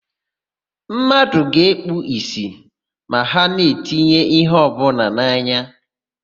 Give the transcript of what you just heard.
Mmadụ ga-ekpu ìsì ma ha na-etinye íhé ọbụla n'anya.